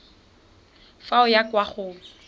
fa o ya kwa go